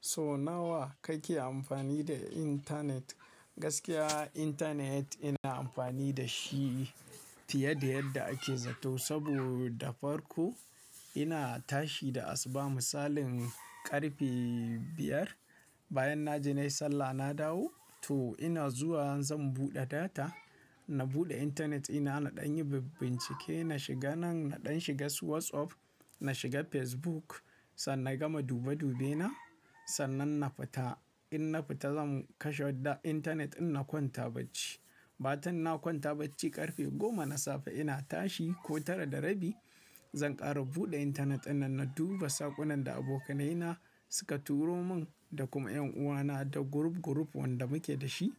So nawa kake amfani da internet? Gaskiya internet ina amfani da shi fiye da yadda ake zato saboda farko ina tashi da asuba misalin ƙarfe biyar, bayan na je na yi sallah na dawo to ina zuwa zan buɗe data. Na buɗe internet ina naɗan yi bincike na shiga nan naɗan shiga su WhatsApp, na shiga Facebook sannan na gama dube dubena, sannan na fita. In na fita zan kashe internet din na kwanta bacci. Bacin na kwanta bacci ƙarfe goma na safe ina tashi ko tara da rabi zan ƙara buɗe internet dinnan na duba saƙunan da abokanai na suka turo mun da kuma ƴanuwana da group group wanda muke da shi.